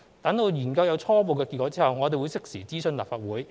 待研究有初步結果後，我們會適時諮詢立法會。